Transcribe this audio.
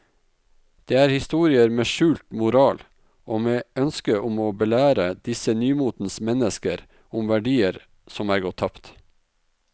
Det er historier med skjult moral og med ønske om å belære disse nymotens mennesker om verdier som er gått tapt.